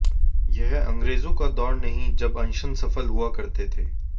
यह अंग्रेजों का दौर नहीं जब अनशन सफल हुआ करते थे